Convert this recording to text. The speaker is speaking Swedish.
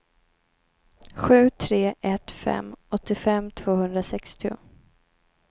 sju tre ett fem åttiofem tvåhundrasextio